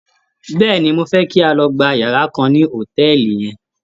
Bẹ́ẹ̀ni, mo fẹ́ kí a lọ gba yàrá kan ní hòtẹ́ẹ̀lì yẹn.